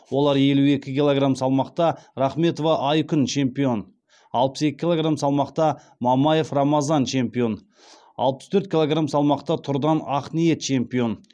олар елу екі килограмм салмақта рахметова айкүн чемпион алпыс екі килограмм салмақта мамаев рамазан чемпион алпыс төрт килограмм салмақта тұрдан ақниет чемпион